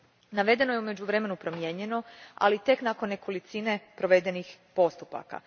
Navedeno je u međuvremenu promijenjeno, ali tek nakon nekolicine provedenih postupaka.